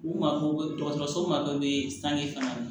U mako bɛ dɔgɔtɔrɔsow ma dɔ bɛ sange fana na